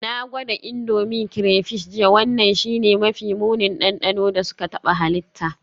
Na gwada Indomie crayfish jiya, wannan shine mafi munin dandano da suka taɓa halitta.